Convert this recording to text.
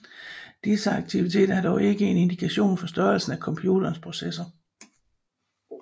Disse aktiviter er dog ikke en indikator for størrelsen af computerens processor